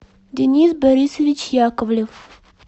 денис борисович яковлев